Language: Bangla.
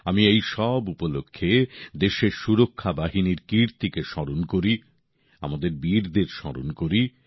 আমি এই সব উপলক্ষ্যে দেশের সুরক্ষা বাহিনীর কীর্তিকে স্মরণ করি আমাদের বীরদের স্মরণ করি